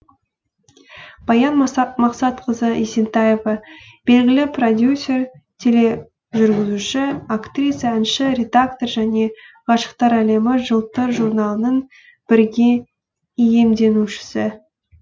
баян максатқызы есентаева белгілі продюсер тележүргізуші актриса әнші редактор және ғашықтар әлемі жылтыр журналының бірге иемденушісі